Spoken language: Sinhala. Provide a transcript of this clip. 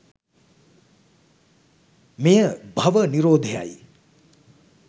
මෙය භව නිරෝධයයි.